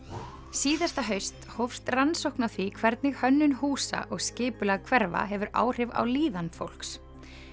síðasta haust hófst rannsókn á því hvernig hönnun húsa og skipulag hverfa hefur áhrif á líðan fólks